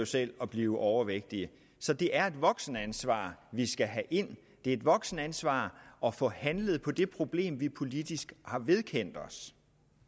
selv at blive overvægtig så det er et voksenansvar vi skal have ind det er et voksenansvar at få handlet på det problem vi politisk har vedkendt os